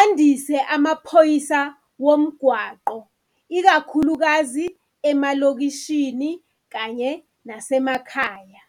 andise amaphoyisa womgwaqo ikakhulukazi emalokishini kanye nasemakhaya.